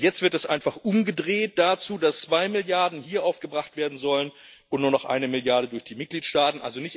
Und jetzt wird es einfach umgedreht dazu, dass zwei Milliarden hier aufgebracht werden sollen und nur noch eine Milliarde durch die Mitgliedstaaten.